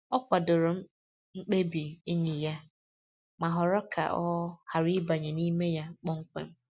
Ọ kwadoro mkpebi enyi ya, ma họrọ ka ọ ghara ịbanye n’ime ya kpọmkwem.